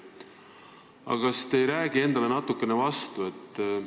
Aga kas te ei räägi endale natuke vastu?